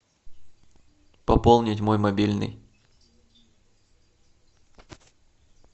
пополнить мой мобильный